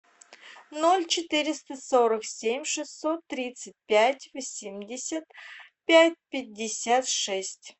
ноль четыреста сорок семь шестьсот тридцать пять семьдесят пять пятьдесят шесть